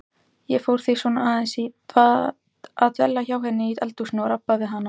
Ég fór því svona aðeins að dvelja hjá henni í eldhúsinu og rabba við hana.